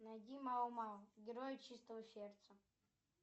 найди мао мао герои чистого сердца